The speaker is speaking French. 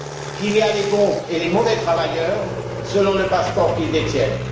Qu'il y a les bons et les mauvais travailleurs, selon le passeport qu'ils détiennent?